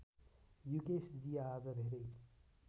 युकेशजी आज धेरै